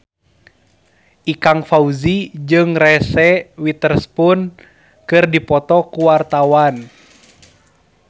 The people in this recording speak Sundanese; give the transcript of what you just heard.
Ikang Fawzi jeung Reese Witherspoon keur dipoto ku wartawan